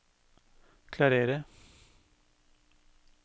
klarere